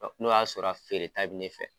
N'o y'a sɔrɔ a feere ta bɛ ne fɛ.